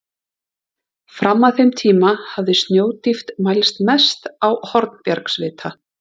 Fram að þeim tíma hafði snjódýpt mælst mest á Hornbjargsvita.